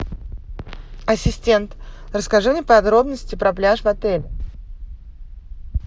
ассистент расскажи мне подробности про пляж в отеле